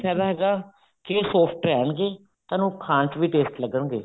ਫਾਇਦਾ ਹੈਗਾ ਕੇ ਇਹ soft ਰਹਿਣਗੇ ਤੁਹਾਨੂੰ ਖਾਣ ਚ ਵੀ tasty ਲੱਗਣਗੇ